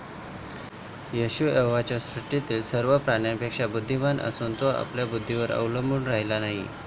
येशू यहोवाच्या सृष्टीतील सर्व प्राण्यांपेक्षा बुद्धिमान असूनही, तो आपल्याच बुद्धीवर अवलंबून राहिला नाही.